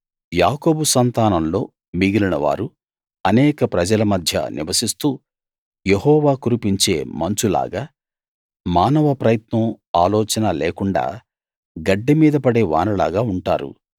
యాకోబు సంతానంలో మిగిలినవారు అనేక ప్రజల మధ్య నివసిస్తూ యెహోవా కురిపించే మంచులాగా మానవ ప్రయత్నం ఆలోచన లేకుండ గడ్డి మీద పడే వానలాగా ఉంటారు